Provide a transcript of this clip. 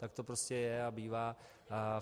Tak to prostě je a bývá.